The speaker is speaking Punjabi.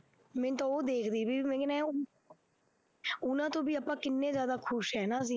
ਮੈਂਨੂੰ ਤਾਂ ਉਹ ਦੇਖ ਦੇਖ ਵੀ ਮੈਂ ਕਹਿਨੀ ਹਾਂ ਉਹਨਾਂ ਤੋਂ ਵੀ ਆਪਾਂ ਕਿੰਨੇ ਜ਼ਿਆਦਾ ਖ਼ੁਸ਼ ਹੈ ਨਾ ਅਸੀਂ।